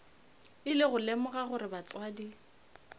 ile go lemoga gore batswadi